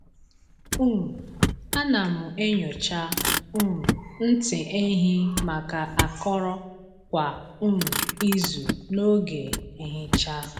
um A na m enyocha um ntị ehi maka akọrọ kwa um izu n’oge nhicha.